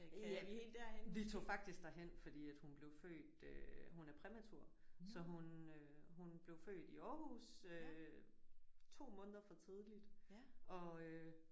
Ja vi tog faktisk derhen fordi at hun blev født øh hun er præmatur så hun øh hun blev født i Aarhus øh 2 måneder for tidligt og øh